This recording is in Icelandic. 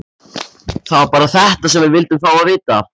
Það var bara þetta sem við vildum fá að vita.